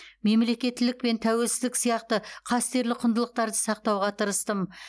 мемлекеттілік пен тәуелсіздік сияқты қастерлі құндылықтарды сақтауға тырыстым